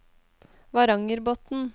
Varangerbotn